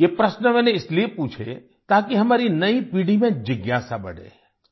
ये प्रश्न मैंने इसलिए पूछे ताकि हमारी नई पीढ़ी में जिज्ञासा बढ़े